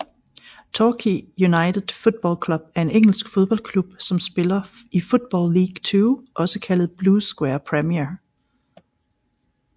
Torquay United Football Club er en engelsk fodboldklub som spiller i Football League Two også kaldet Blue Square Premier